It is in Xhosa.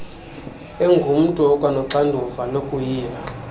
engumntu okwanoxanduva lokuyila